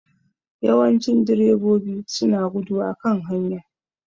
Yawancin direbobi su na gudu a kan hanya